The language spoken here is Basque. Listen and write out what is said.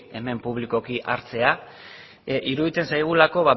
hemen publikoki hartzea iruditzen zaigulako